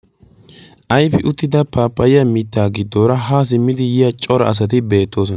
ayfi uttida paapayiya mittaa giddoora ha simmidi yiya cora asati beettoosona.